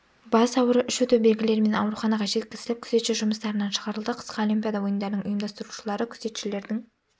бас ауыру іш өту белгілерімен ауруханаға жетізіліп күзетші жұмыстарынан шығарылды қысқы олимпиада ойындарының ұйымдастырушылары күзетшілердің